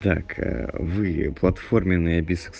так вы платформенные